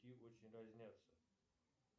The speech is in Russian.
очень разнятся